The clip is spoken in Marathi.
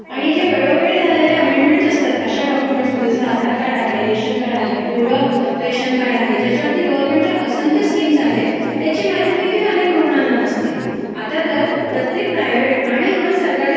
आणि जे वेळोवेळी झालेले अमेंडमेंटस् असतात, अशा डॉक्युमेंटस् मधे जसं आधार कार्ड आहे, रेशन कार्ड आहे, पिवळं रेशन कार्ड आहे ज्याच्यावरती गर्व्हनमेंटच्या असंख्य स्कीम्स आहेत त्याची माहितीदेखील अनेक रुग्णांना नसते. आता तर प्रत्येक प्रायवेट आणि इवन सरकारी